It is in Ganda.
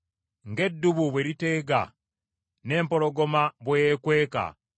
Ng’eddubu bwe liteega, n’empologoma bwe yeekweka